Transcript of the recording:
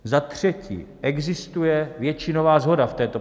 Za čtvrté existuje většinová shoda v této